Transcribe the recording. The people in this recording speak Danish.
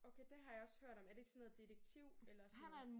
Okay det har jeg også hørt om. Er det ikke sådan noget detektiv eller sådan noget?